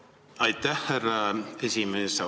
Aitäh, härra esimees!